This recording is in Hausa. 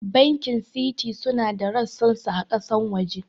Bankin Citi suna da ressan su a ƙasar waje